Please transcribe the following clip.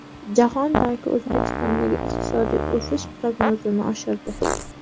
Jahon banki O‘zbekistondagi iqtisodiy o‘sish prognozini oshirdi.